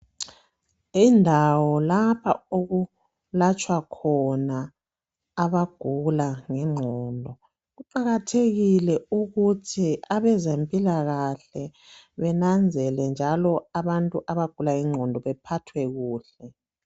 Yindawo lapho okulatshwa khona abagula ngengqondo kuqakathekile ukuthi abezempilakahle benanzele njalo abantu abagula ngengqondo bephathwe kuhle.